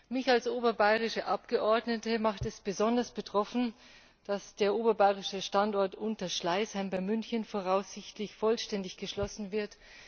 Mich als oberbayerische Abgeordnete macht es besonders betroffen, dass der oberbayerische Standort Unterschleißheim bei München voraussichtlich vollständig geschlossen wird.